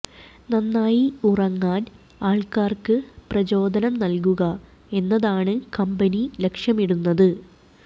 നന്നായി ഉറങ്ങാൻ ആൾക്കാർക്ക് പ്രചോദനം നൽകുക എന്നതാണ് കമ്പനി ലക്ഷ്യമിടുന്നത്